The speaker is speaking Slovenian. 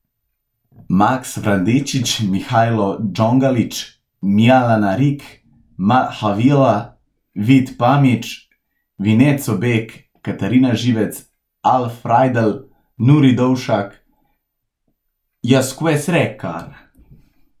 Max Vrandečič, Mihailo Đonlagić, Mylana Rink, Mal Hawlina, Vit Pamić, Vincenzo Beg, Katrina Živec, Al Frajdl, Nuri Dovšak, Jacques Rekar.